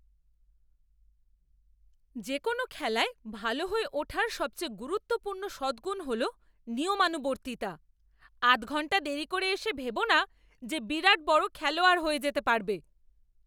যে কোনও খেলায় ভালো হয়ে ওঠার সবথেকে গুরুত্বপূর্ণ সদগুণ হলো নিয়মানুবর্তিতা। আধঘন্টা দেরি করে এসে ভেবো না যে বিরাট বড় খেলোয়াড় হয়ে যেতে পারবে।